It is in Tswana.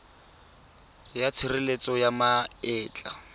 ya tshireletso ya ma etla